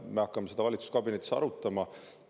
Seda me hakkame valitsuskabinetis arutama.